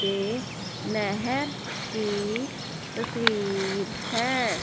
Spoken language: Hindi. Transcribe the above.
ये नेहेर की तस्वीर है।